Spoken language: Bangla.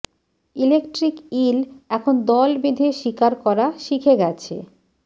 ইলেক্ট্রিক ইল এখন দল বেঁধে শিকার করা শিখে গেছে